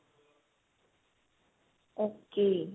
ok